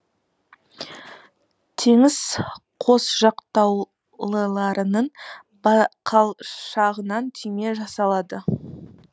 теңіз қосжақтаулыларының бақалшағынан түйме жасалады